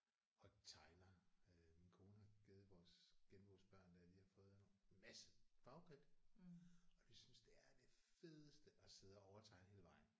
Og tegner øh min kone har givet vores genbos børn der de har fået en masse farvekridt. Og de synes det er det fedeste at sidde og overtegne hele vejen